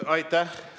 Aitäh!